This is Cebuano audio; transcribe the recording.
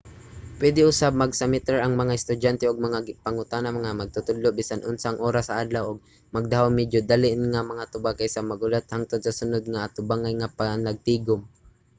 pwede usab magsumiter ang mga estudyante og mga pangutana sa mga magtutudlo bisan unsang oras sa adlaw ug magdahom medyo dali nga mga tubag kaysa maghulat hangtod sa sunod nga atubangay nga panagtigom